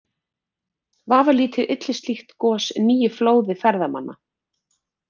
Vafalítið ylli slíkt gos nýju flóði ferðamanna.